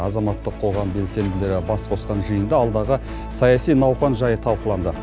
азаматтық қоғам белсенділері бас қосқан жиында алдағы саяси науқан жайы талқыланды